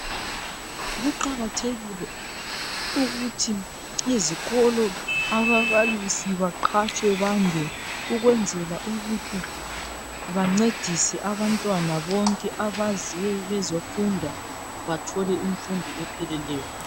Kuqakathekile ukuthi ezikolo ababalisi baqhatshwe bande ukwenzela ukuthi bancedise abantwana bonke abaze bezofunda bathole imfundo epheleleyo.